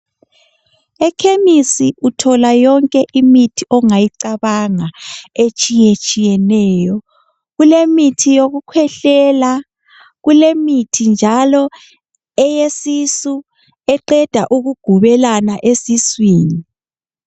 Ekhemisi uthola yonke imithi ongayicabanga etshiyetshiyeneyo kulemithi yokukhwehlela kulemithi njalo eyesisu eqeda ukugubelena esiswini.